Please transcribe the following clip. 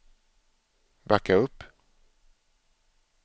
backa upp